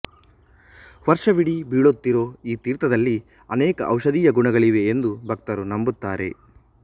ವರ್ಷವಿಡೀ ಬೀಳೋತ್ತಿರೋ ಈ ತೀರ್ಥದಲ್ಲಿ ಅನೇಕ ಔಷಧೀಯ ಗುಣಗಳಿವೆ ಎಂದು ಭಕ್ತರು ನಂಬುತ್ತಾರೆ